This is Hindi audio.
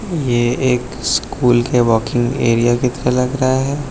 ये एक स्कूल के वॉकिंग एरिया की तरह लग रहा है।